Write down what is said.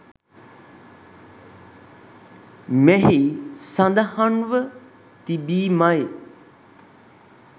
මෙහි සඳහන්ව තිබීමයි.